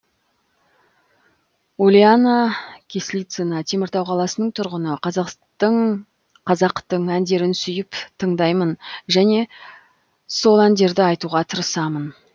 ульяна кислицына теміртау қаласының тұрғыны қазақтың әндерін сүйіп тыңдаймын және сол әндерді айтуға тырысамын